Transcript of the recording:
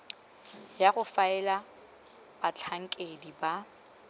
ya go faela batlhankedi ba